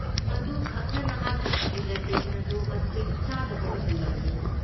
ꯃꯗꯨꯈꯛꯅ ꯅꯍꯥꯛꯀꯤ ꯗꯤꯖꯔꯇꯦꯁꯟ ꯑꯗꯨ ꯃꯇꯤꯛ ꯆꯥꯗꯕ ꯑꯣꯏꯍꯜꯂꯕꯅꯤ꯫